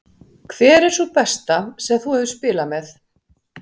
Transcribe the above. Hver er sú besta sem þú hefur spilað með?